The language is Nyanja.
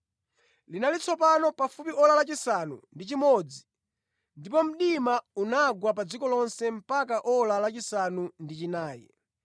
Linali tsopano pafupi ora lachisanu ndi chimodzi, ndipo mdima unagwa pa dziko lonse mpaka ora lachisanu ndi chinayi,